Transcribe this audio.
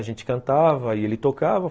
A gente cantava e ele tocava.